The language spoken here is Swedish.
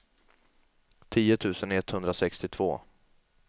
tio tusen etthundrasextiotvå